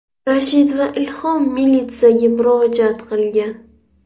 Rashid va Ilhom militsiyaga murojaat qilgan.